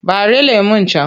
Ɓare lemon can!